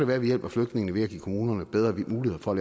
være at vi hjælper flygtningene ved at give kommunerne bedre muligheder for at